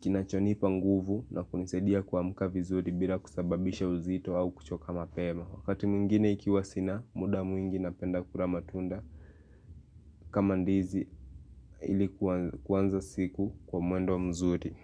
kinachonipa nguvu na kunisadia kuamka vizuri bila kusababisha uzito au kuchoka mapema. Wakati mwingine ikiwa sina muda mwingi napenda kura matunda kama ndizi iliku kuanza siku kwa mwendo mzuri.